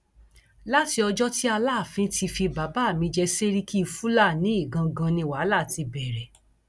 láti ọjọ tí aláàfin ti fi bàbá mi jẹ sẹríkì fúlàní ìgangan ni wàhálà ti bẹrẹ